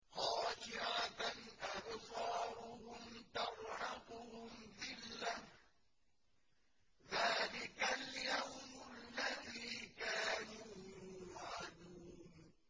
خَاشِعَةً أَبْصَارُهُمْ تَرْهَقُهُمْ ذِلَّةٌ ۚ ذَٰلِكَ الْيَوْمُ الَّذِي كَانُوا يُوعَدُونَ